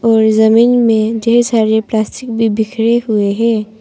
और जमीन में ढेर सारे प्लास्टिक भी बिखरे हुवे हैं।